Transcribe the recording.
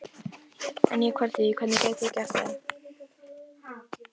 En ég kvarta ekki, hvernig gæti ég gert það?